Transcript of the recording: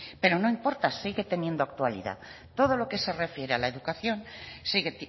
pero no importa sigue teniendo actualidad todo lo que se refiere a la educación sigue